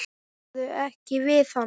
Talaðu ekki við hann.